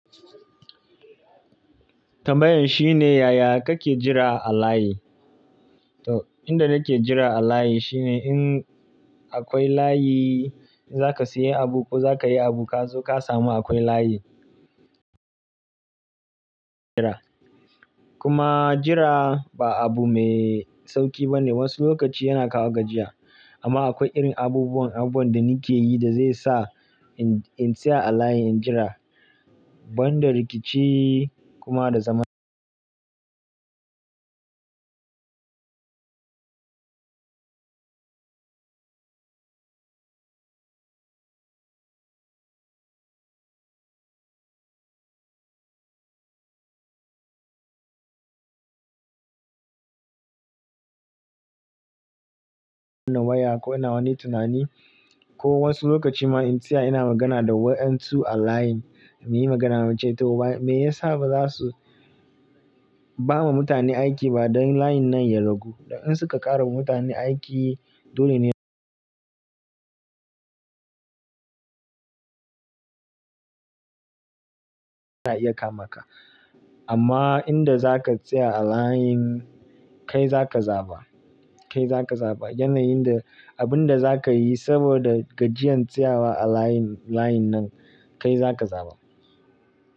Tambayan shine yaya kake jira a layi. Inda nake jira a layi shine in akwai layi, za ka sayi abu ko za ka yi abu ka zo ka samu akwai layi. Kuma jira ba abu mai sauki ba ne, wasu lokaci yana kawo gajiya. Amma akwai irin abubuwan abubuwa da mikeyi da zai sa in tsaya a layi, in jira banda rikici kuma da zaman. Ko ina wani tunani ko wasu lokaci ma in tsaya ina magana da wa"yan su a line, muyi magana muce to. Me ya sa ba za su ba ma mutane aiki ba dan layin nan ya ragu? In suka ƙara wa mutane aiki, dole ne. Iya kama ka. Amma inda za ka tsaya a layin kai za ka zaba, kai za ka zaba yanayin da abun da za ka yi saboda gajiyan tsayawa a layin nan kai za ka zaba.